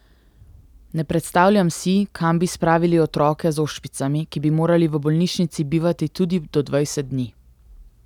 Ne predstavljam si, kam bi spravili otroke z ošpicami, ki bi morali v bolnišnici bivati tudi do dvajset dni.